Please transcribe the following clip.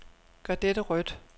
Gør dette rødt.